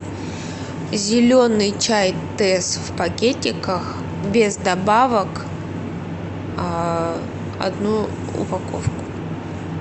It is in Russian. зеленый чай тесс в пакетиках без добавок одну упаковку